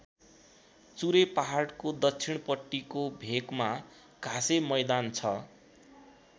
चुरे पहाडको दक्षिणपट्टिको भेकमा घाँसे मैदान छ।